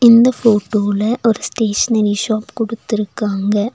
இந்த ஃபோட்டோல ஒரு ஸ்டேஷனரி ஷாப் குடுத்துருக்காங்க.